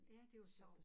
Ja det var sjovt